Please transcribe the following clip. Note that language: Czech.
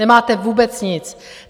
Nemáte vůbec nic.